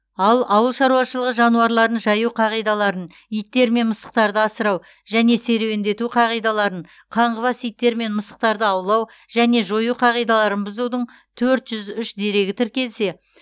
ал ауыл шаруашылығы жануарларын жаю қағидаларын иттер мен мысықтарды асырау және серуендету қағидаларын қаңғыбас иттер мен мысықтарды аулау және жою қағидаларын бұзудың төрт жүз үш дерегі тіркелсе